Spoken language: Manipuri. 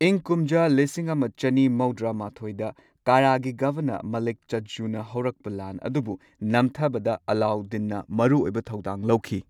ꯏꯪ ꯀꯨꯝꯖꯥ ꯂꯤꯁꯤꯡ ꯑꯃ ꯆꯅꯤ ꯃꯧꯗ꯭ꯔꯥ ꯃꯥꯊꯣꯏꯗ ꯀꯥꯔꯥ ꯒꯤ ꯒꯚꯔꯅꯔ, ꯃꯥꯂꯤꯛ ꯆꯖꯖꯨꯅ ꯍꯧꯔꯛꯄ ꯂꯥꯟ ꯑꯗꯨꯕꯨ ꯅꯝꯊꯕꯗ ꯑꯂꯥꯎꯗꯤꯟꯅ ꯃꯔꯨꯑꯣꯏꯕ ꯊꯧꯗꯥꯡ ꯂꯧꯈꯤ꯫